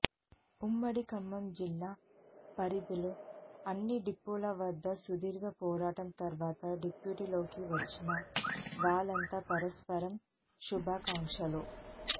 ఉమ్మడి ఖమ్మం జిల్లా పరిధిలోని అన్ని డిపోల వద్ద సుదీర్ఘ పోరాటం తర్వాత డ్యూటీల్లోకి వచ్చిన వాళ్లంతా పరస్పరం శుభాకాంక్షలు